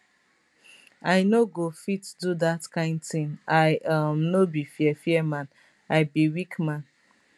i no go fit do dat kain tin i um no be fear fear man i be weak man